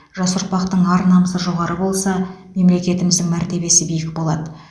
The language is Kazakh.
жас ұрпақтың ар намысы жоғары болса мемлекетіміздің мәртебесі биік болады